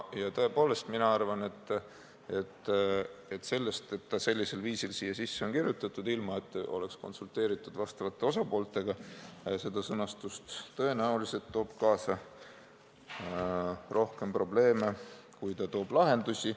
Ja tõepoolest, mina arvan, et see, et ta sellisel viisil siia sisse on kirjutatud, ilma et seda sõnastust oleks konsulteeritud vastavate osapooltega, tõenäoliselt toob kaasa rohkem probleeme, kui ta toob lahendusi.